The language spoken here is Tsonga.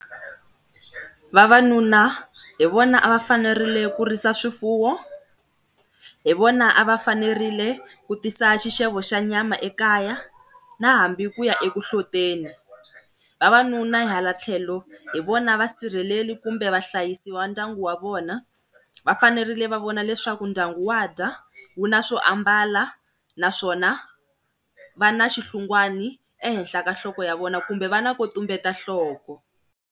Vavanuna hi vona a va fanerile ku risa swifuwo, hi vona a va fanerile ku tisa xixevo xa nyama ekaya na hambi ku ya ekuhloteli. Vavanuna hala tlhelo hi vona va sirheleli kumbe vahlayisi va ndyangu wa vona, va fanerile va vona leswaku ndyangu wa dya, wu na swo ambala naswona va na xihlungwana ehenhla ka nhloko ya vona kumbe va na ko tumbeta nhloko.